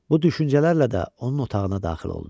Bu düşüncələrlə də onun otağına daxil oldu.